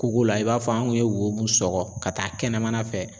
Koko la i b'a fɔ an kun ye wo mun sɔkɔ ka taa kɛnɛmana fɛ